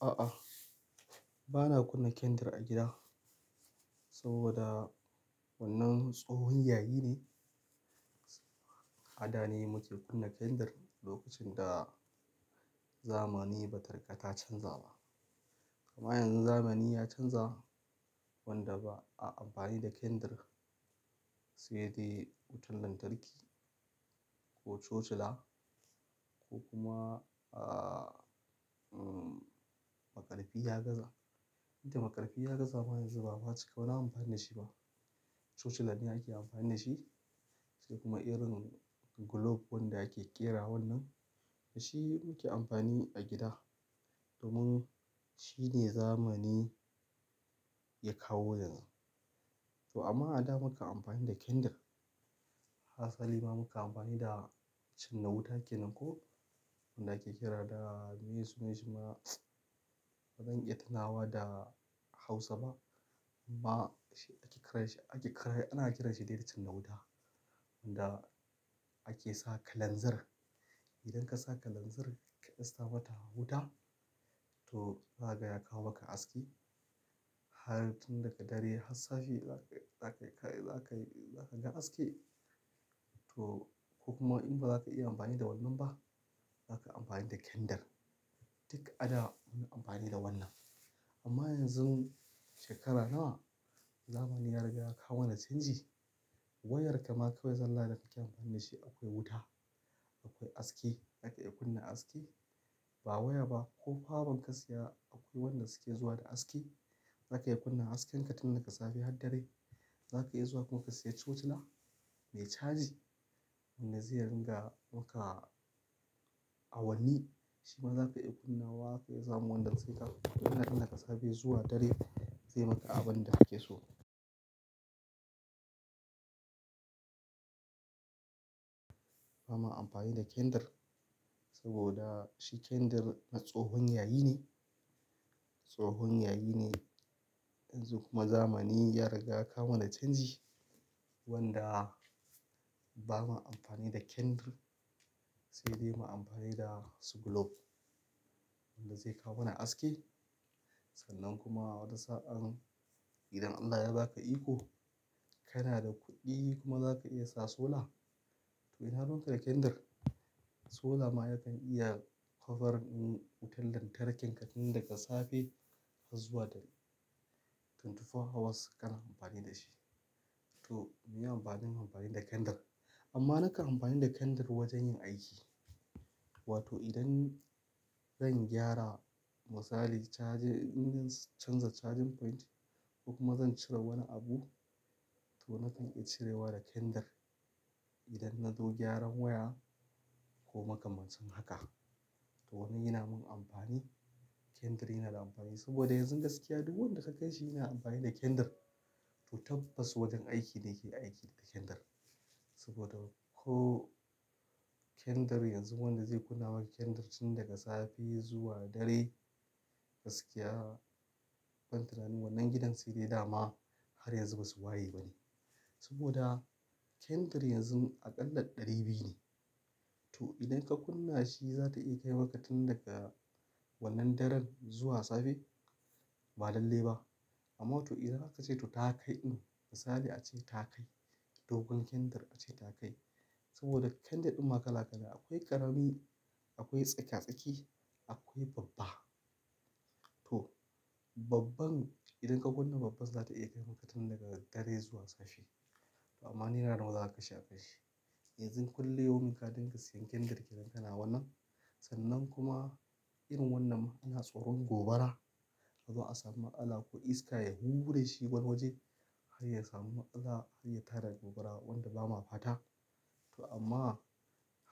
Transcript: A'a, ba na kunna kandir a gida saboda wannan tsohon yayi ne. A da ne muke kunna kandir lokacin da zamani ba tarkata canza ba. Amma yanzu zamani ya canza wanda ba a amfani da kandir sai dai wutan lantarki ko chochela ko kuma, a, mm, makarfi ya gaza. To makarfi ya gaza ma yanzu ba amma cika wani amfani da shi ba. Chochela ne ake amfani da shi sai kuma irin globe wanda ake ƙera wannan, shi muke amfani a gida domin shi ne zamani ya kawo yanzu. To amma a da muka amfani da kandir, hatsali ma muka amfani da cinna wuta kenan ko wanda ake kira da, meye sunan shi ma? Ba zan iya tunawa da Hausa ba amma shi ake kira shi, ake kira, ana kiranshi dai da cinna wuta wanda ake sa kalanzir. Idan ka sa kalanzir ka dasta mata wuta to za kagaya kawo maka aski. Har tun daga dare har safe za ka, za ka, za ka, za ka ga haske to ko kuma in ba za ka iya amfani da wannan ba, za ka amfani da kandir. Duk a da muna amfani da wannan. Amma yanzu shekara nawa zamani ya riga ya kawo mana canji. Wayarka ma kawai zallah da kake amfani da shi akwai wuta, akwai haske, zaka iya kunna haske. Ba waya ba ko power bank ka siya akwai wanda suke zuwa da haske. Zaka iya kunna haskin ka tun daga safe har dare. Za ka iya zuwa kuka siya chochela me caji wanda zai ringa maka awanni. Shi ma za ka iya kunna wa ka iya samu wanda suke kauna daga safe zuwa dare zai maka abin da kake so. Ba ma amfani da kandir saboda shi kandir a tsohon yayi ne, tsohon yayi ne. Yanzu kuma zamani ya riga kawo mana canji wanda ba mu amfani da kandir sai dai mu amfani da su globe wanda zai kawo mana haske. Sannan kuma wata sa'an idan Allah ya ba ka iko kana da kuɗi kuma za ka iya sa sola to ina ruwan ka da kandir? Sola ma yakan iya covering in wutan lantarkin ka tun daga safe har zuwa da twentyfour hawas kana amfani da shi. To, me amfanin mu amfani da kandir? Amma naka amfani da kandir wajen yin aiki. Wato idan zan gyara misali charging, idan zan canza charging point kuma zan cire wani abu to na kan iya cirewa da kandir idan na zo gyaran waya ko makamashin haka. To wannan yana min amfani. Kandir yana da amfani saboda yanzu gaskiya duk wanda ka ganshi yana amfani da kandir. To tabbas wajen aiki ne ke aiki da kandir saboda ko kandir yanzu wanda zai kunna maka kandir tun daga safe zuwa dare gaskiya ban tunani wannan gidan sai dai dama har yanzu basu waye ba ne. Saboda kandir yanzu aƙalla ɗari biyu ne. To idan ka kunna shi zata iya kai maka tun daga wannan daren zuwa safe? Ba lalle ba. Amma to idan aka ce to takai ɗin misali a ce takai dogon kandir a ce takai. Saboda kandir ɗin ma kala kala akwai ƙarami, akwai tsakiya tsaki, akwai babba. To, babban idan ka kunna babban zata iya kai maka tun daga dare zuwa safe. Amma ni na nuna wa kashi a kashi. Yanzu kullum yau muka dinga siyan kindle kiran ka na wannan sannan kuma irin wannan ina tsoron gobara. Zuwa sama matsala ko iska ya hura shi wani waje har ya samu matsala har ya tara gobara wanda bamu fata. To amma,